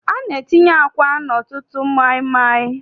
A na-etinye àkwá n'ọtụtụ maịmaị.